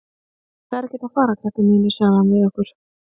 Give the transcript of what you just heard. Það er ekkert að fara, krakkar mínir, sagði hann við okkur.